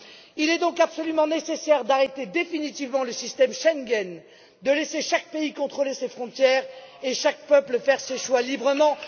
Il est donc absolument nécessaire d'arrêter définitivement le système Schengen, de laisser chaque pays contrôler ses frontières et chaque peuple faire ses choix librement.